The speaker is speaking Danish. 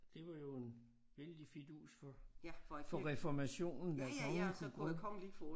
Det var jo en vældig fidus for for reformationen at kongen kunne gå